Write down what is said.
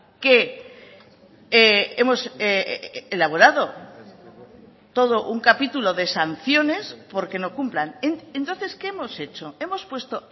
que hemos elaborado todo un capítulo de sanciones porque no cumplan entonces qué hemos hecho hemos puesto